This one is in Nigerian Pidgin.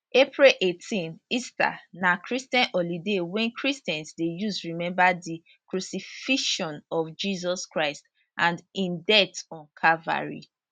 april 18 easter na christian holiday wey christians dey use remember di crucifixion of jesus christ and im death on calvary